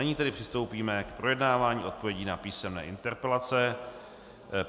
Nyní tedy přistoupíme k projednávání odpovědí na písemné interpelace.